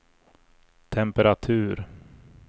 temperatur